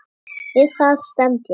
Við það stend ég.